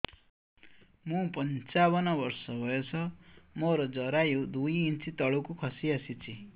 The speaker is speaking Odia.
ମୁଁ ପଞ୍ଚାବନ ବର୍ଷ ବୟସ ମୋର ଜରାୟୁ ଦୁଇ ଇଞ୍ଚ ତଳକୁ ଖସି ଆସିଛି